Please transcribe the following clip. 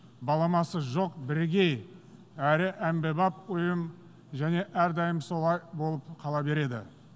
баламасы жоқ бірегей әрі әмбебап ұйым және әрдайым солай болып қала береді